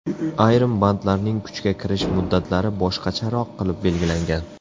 Ayrim bandlarning kuchga kirish muddatlari boshqacharoq qilib belgilangan.